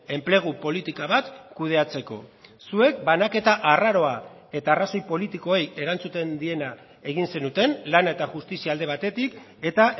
enplegu politika bat kudeatzeko zuek banaketa arraroa eta arrazoi politikoei erantzuten diena egin zenuten lana eta justizia alde batetik eta